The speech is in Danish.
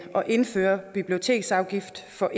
at indføre biblioteksafgift for